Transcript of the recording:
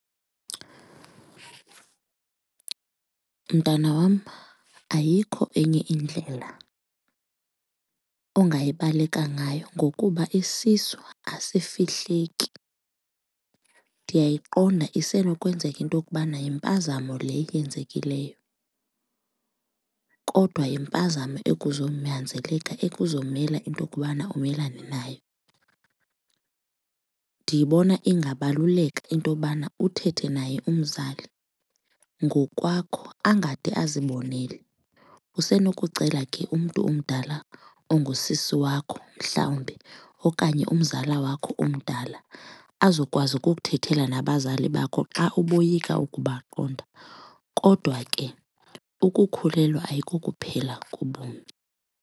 Mntana wam, ayikho enye indlela ongayibaleka ngayo ngokuba isisu azifihleki. Ndiyayiqonda isenokwenzeka into yokubana yimpazamo le yenzekileyo kodwa yimpazamo ekuzonyanzeleka ekuzomele into okubana umelane nayo. Ndiyibona ingabaluleka intobana uthethe naye umzali ngokwakho angade azibonele. Usenokucela ke umntu omdala ongusisi wakho mhlawumbi okanye umzala wakho omdala azokwazi ukukuthethela nabazali bakho xa uboyika ukubaqonda kodwa ke ukukhulelwa ayikokuphela kobomi.